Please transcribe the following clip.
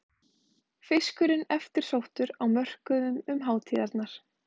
Fiskurinn eftirsóttur á mörkuðum um hátíðarnar